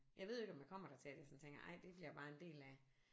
Jeg ved jo ikke om jeg kommer dertil at jeg sådan tænker ej det bliver bare en del af